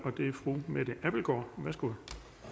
og det er fru mette abildgaard værsgo